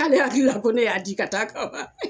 K'ale hakili la ko ne y'a di ka taa ka ma